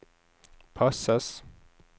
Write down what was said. passes